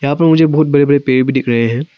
यहां पर मुझे बहुत बड़े बड़े पेड़ भी दिख रहे हैं।